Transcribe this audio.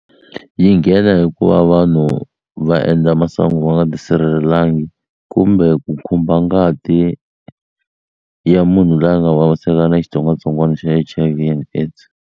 Yi nghena hi ku va vanhu va endla masangu va nga tisirhelelangi kumbe ku khumba ngati ya munhu loyi a nga vaviseka a na xitsongwatsongwana xa H_I_V and AIDS